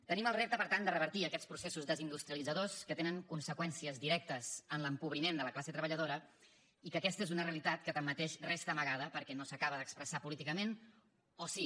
tenim el repte per tant de revertir aquests processos desindustrialitzadors que tenen conseqüències directes en l’empobriment de la classe treballadora i que aquesta és una realitat que tanmateix resta amagada perquè no s’acaba d’expressar políticament o sí